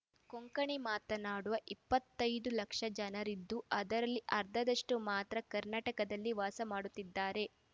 ಕೊಂಕಣಿ ಮಾತನಾಡುವ ಇಪ್ಪತ್ತೈದು ಲಕ್ಷ ಜನರಿದ್ದು ಅದರಲ್ಲಿ ಅರ್ಧದಷ್ಟುಮಾತ್ರ ಕರ್ನಾಟಕದಲ್ಲಿ ವಾಸ ಮಾಡುತ್ತಿದ್ದಾರೆ